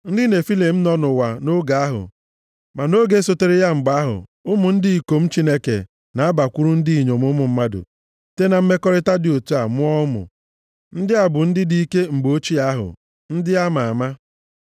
Ndị Nefilim nọ nʼụwa nʼoge ahụ, ma nʼoge sotere ya mgbe ahụ, ụmụ ndị ikom Chineke na-abakwuru ndị inyom ụmụ mmadụ, site na mmekọrịta dị otu a mụọ ụmụ. Ndị a bụ ndị dike mgbe ochie ahụ, ndị a ma ama.